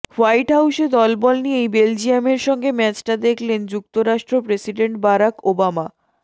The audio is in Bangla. হোয়াইট হাউসে দলবল নিয়েই বেলজিয়ামের সঙ্গে ম্যাচটা দেখলেন যুক্তরাষ্ট্র প্রেসিডেন্ট বারাক ওবামা